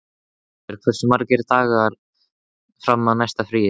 Eyfríður, hversu margir dagar fram að næsta fríi?